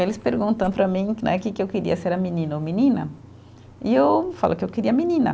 Eles perguntam para mim né que que eu queria, se era menino ou menina, e eu falo que eu queria menina.